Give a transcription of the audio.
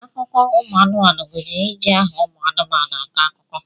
Akụkọ ụmụ anụmanu gunyere iji aha ụmụ anụmanu akọ akụkọ.